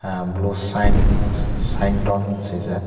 ah blue shing shington hing sijak.